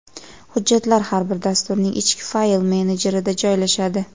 Hujjatlar har bir dasturning ichki fayl menejerida joylashadi.